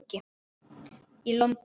í London.